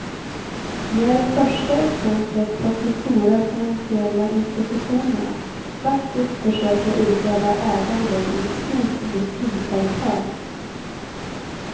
Det är det första exemplet på att de stora finansiella institutionerna faktiskt försöker utöva ägande i ett stort industriföretag.